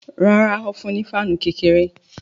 Rárá, ó fún un ní fáànù kékeré